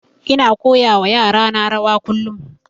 Ina koya wa yara na rawa kullum